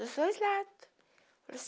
Dos dois lados.